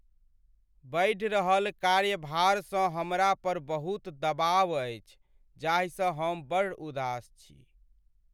बढ़ि रहल कार्यभारसँ हमरा पर बहुत दबाव अछि जाहिसँ हम बड़ उदास छी।